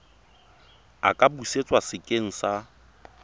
a ka busetswa sekeng sa